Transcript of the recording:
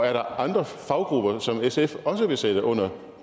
er der andre faggrupper som sf også vil sætte under